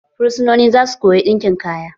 Fursononin zasu koya ɗinkin kaya.